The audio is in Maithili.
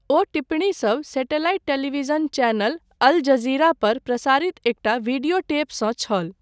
ओ टिप्पणीसब satellite television channel Al Jazeera पर प्रसारित एकटा वीडियो टेपसँ छल।